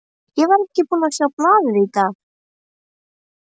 Ég var ekki búinn að sjá blaðið í dag.